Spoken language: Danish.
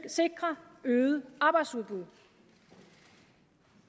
sikre øget arbejdsudbud